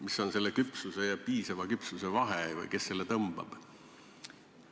Mis on küpsuse ja piisava küpsuse vahe või kes selle piiri tõmbab?